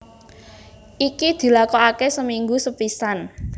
Iki dilakokake seminggu sepisan